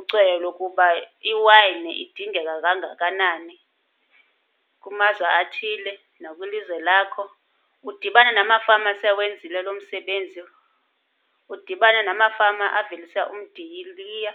Ucweyo lokuba iwayini idingeka kangakanani kumazwe athile nakwilizwe lakho. Udibane namafama sewenzile lo msebenzi, udibane namafama avelisa umdiliya.